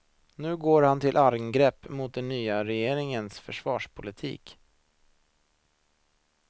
Nu går han till angrepp mot den nya regeringens försvarspolitik.